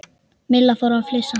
Milla fór að flissa.